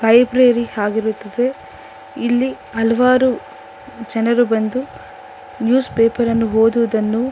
library ಆಗಿರುತ್ತದೆ ಇಲ್ಲಿ ಹಲವಾರು ಜನರು ಬಂದು ನ್ಯೂಸ್ ಪೇಪರ್ ಅನ್ನು ಓದುವುದನ್ನು--